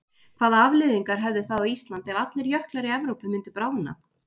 Hvaða afleiðingar hefði það á Ísland ef allir jöklar í Evrópu myndu bráðna?